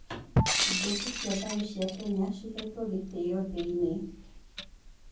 Mbũtũ cia thayũ cia Kenya cihetwo gĩtĩo thĩ-inĩ.